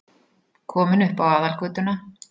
Kominn upp á aðalgötuna.